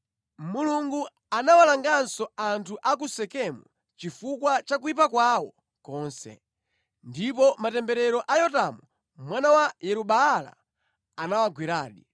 Mulungu anawalanganso anthu a ku Sekemu chifukwa cha kuyipa kwawo konse. Ndipo matemberero a Yotamu mwana wa Yeru-Baala anawagweradi.